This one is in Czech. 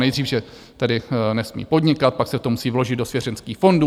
Nejdřív že tedy nesmí podnikat, pak se to musí vložit do svěřenských fondů.